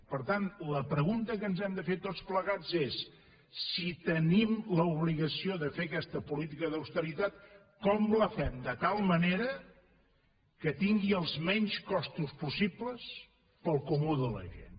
per tant la pregunta que ens hem de fer tots plegats és si tenim l’obligació de fer aquesta política d’austeritat com la fem de tal manera que tingui els menys costos possibles per al comú de la gent